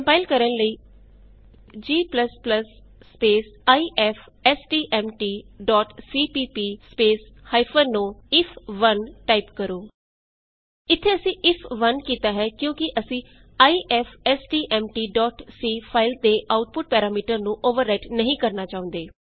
compile ਕਰਨ ਲਈ g IFSTMT CPP o if 1 g ifstmtਸੀਪੀਪੀ ਓ ਆਈਐਫ 1 ਟਾਈਪ ਕਰੋ ਇਥੇ ਅਸੀਂ ਇਫ1 ਕੀਤਾ ਹੈ ਕਿਉਂਕਿ ਅਸੀਂ ifstmtਸੀ ਫਾਈਲ ਦੇ ਆਉਟਪੁਟ ਪੈਰਾਮੀਟਰ ਨੂੰ ਅੋਵਰ ਰਾਈਟ ਨਹੀਂ ਕਰਨਾ ਚਾਹੁੰਦੇ